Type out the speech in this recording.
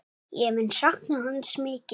Ég mun sakna hans mikið.